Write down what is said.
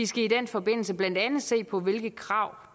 skal i den forbindelse blandt andet se på hvilke krav